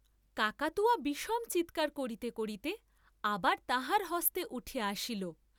কাকাতুয়া বিষম চীৎকার করিতে করিতে আবার তাহার হস্তে উঠিয়া আসিল।